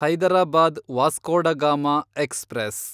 Hyderabad Vasco da Gama express